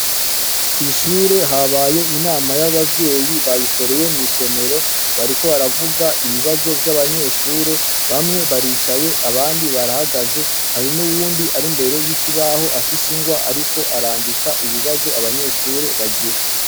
Kw'ishure habaye inama y'abavyeyi bayikoreye mu isomero, bariko baravuga ibibazo vy'abanyeshure. Bamwe baricaye abandi barahagaze, hari n'uwundi ari imbere y'ikibaho afise ingwa ariko arandika ibibazo abanyeshure bagira.